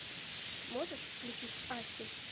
можешь включить асси